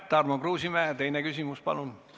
Tarmo Kruusimäe, teine küsimus, palun!